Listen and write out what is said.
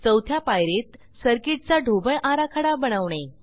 चवथ्या पायरीत सर्किटचा ढोबळ आराखडा बनवणे